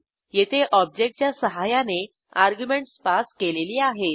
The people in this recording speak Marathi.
येथे ऑब्जेक्टच्या सहाय्याने अर्ग्युमेंटस पास केलेली आहेत